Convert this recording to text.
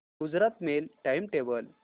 Gujarat mail time table